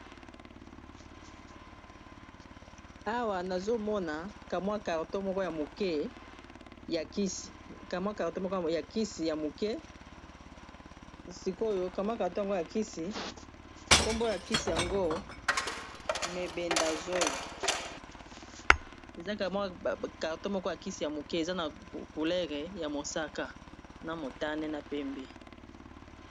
Awa nazomona kamwa carton moko ya kisi ya moke sikoyo kamwa carton ngo ya kisi kombo na kisi yango mebendazoli eza kamwa carton moko ya kisi ya moke eza na couleur ya mosaka na motane na pembe.